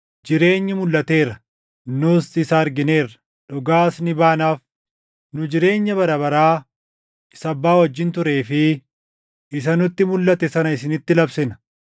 Jireenyi mulʼateera; nus isa argineerra; dhugaas ni baanaaf; nu jireenya bara baraa isa Abbaa wajjin turee fi isa nutti mulʼate sana isinitti labsina.